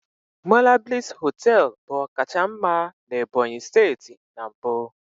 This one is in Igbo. Monablis hoteelu bu ọkacha mma na Ebonyi steeti na mbụ.